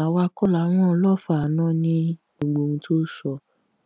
àwa kọ la ran olófòààná ní gbogbo ohun tó sọ